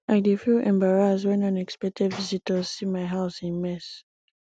i dey feel embarrassed when unexpected visitors see my house in mess